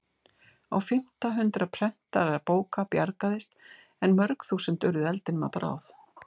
Á fimmta hundrað prentaðra bóka bjargaðist en mörg þúsund urðu eldinum að bráð.